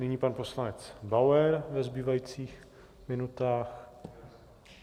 Nyní pan poslanec Bauer ve zbývajících minutách.